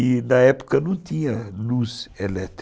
E na época não tinha luz elétrica.